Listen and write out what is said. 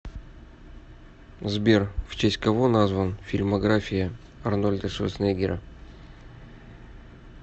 сбер в честь кого назван фильмография арнольда шварценеггера